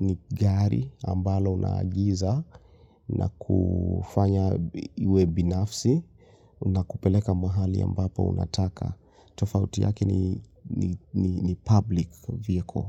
ni gari ambalo unaagiza na kufanya iwe binafsi na kupeleka mahali ambapo unataka. Tofauti yaki ni public vieko.